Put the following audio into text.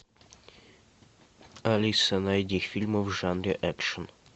алиса найди фильмы в жанре экшн